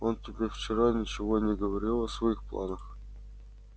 он тебе вчера ничего не говорил о своих планах